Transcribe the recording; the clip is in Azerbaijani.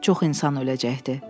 Çox insan öləcəkdi.